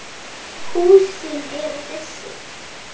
Húsin eru þessi